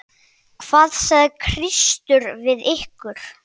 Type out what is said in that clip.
Hvað sagði Kristur við ykkur?